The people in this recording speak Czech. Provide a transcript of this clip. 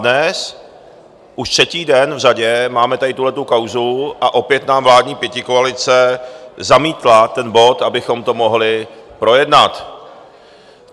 Dnes už třetí den v řadě máme tady tuhle kauzu a opět nám vládní pětikoalice zamítla ten bod, abychom to mohli projednat.